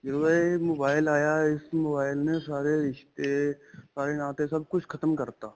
ਜਦੋਂ ਦਾ ਇਹ mobile ਆਇਆ ਇਸ mobile ਨੇ ਸਾਰੇ ਰਿਸ਼ਤੇ, ਸਾਰੇ ਨਾਤੇ ਸਭ ਕੁੱਝ ਖਤਮ ਕਰਤਾ.